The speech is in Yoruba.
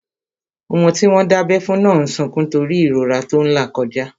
Ọmọ tí wọ́n dábẹ́ fún náà n sọkún nítorí ìrora tó n là kọjá